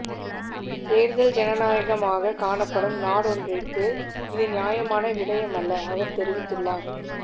தேர்தல் ஜனநாயகமாக காணப்படும் நாடொன்றிற்கு இது நியாயமான விடயமல்ல அவர் தெரிவித்துள்ளார்